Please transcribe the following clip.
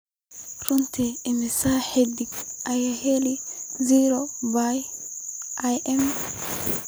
runtii imisa xidig ayaa helay zora by i.m.